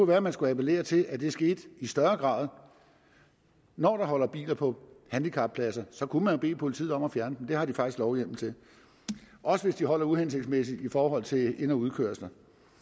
være at man skulle appellere til at det skete i større grad når der holder biler på handicappladser kunne man jo bede politiet om at fjerne dem det har de faktisk lovhjemmel til også hvis de holder uhensigtsmæssigt i forhold til ind og udkørsler